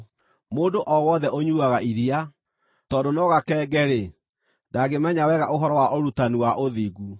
Mũndũ o wothe ũnyuuaga iria, tondũ no gakenge-rĩ, ndangĩmenya wega ũhoro wa ũrutani wa ũthingu.